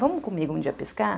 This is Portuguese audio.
Vamos comigo um dia pescar?